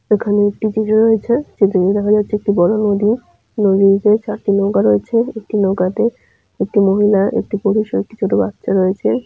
এখানে একটি চিত্র রয়েছে। চিত্রটিতে দেখা যাচ্ছে একটি বড়ো নদী নদীতে চারটি নৌকা রয়েছে। একটি নৌকাতে একটি মহিলা একটি পুরুষ ও একটি ছোট্ট বাচ্চা রয়েছে।